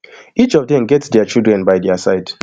each of dem get dia children by dia side